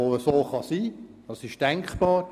Er ist denkbar: